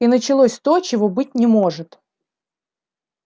и началось то чего быть не может